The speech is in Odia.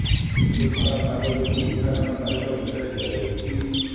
କିନ୍ତୁ ଖରାପ ପାଗ ଯୋଗୁ ଉଦ୍ଘାଟନ ତାରିଖ ଘୁଞ୍ଚାଇ ଦିଆଯାଇଛି